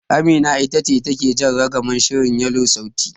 Amina ita take jan ragamar shirin Yelo sauti.